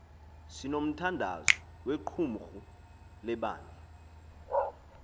sinomthandazo wequmrhu lebandla